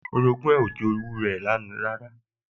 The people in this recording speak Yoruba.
Orogún ẹ̀ ò jowú ẹ̀ rárá